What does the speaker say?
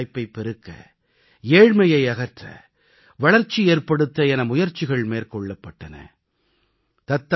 தேசத்தில் வேலைவாய்ப்பைப் பெருக்க ஏழ்மையை அகற்ற வளர்ச்சி ஏற்படுத்த என முயற்சிகள் மேற்கொள்ளப்பட்டன